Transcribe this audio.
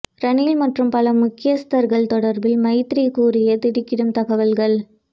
ரணில் மற்றும் பல முக்கியஸ்தர்கள் தொடர்பில் மைத்திரி கூறிய திடுக்கிடும் தகவல்கள்